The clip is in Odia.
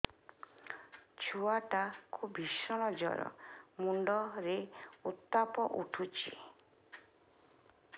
ଛୁଆ ଟା କୁ ଭିଷଣ ଜର ମୁଣ୍ଡ ରେ ଉତ୍ତାପ ଉଠୁଛି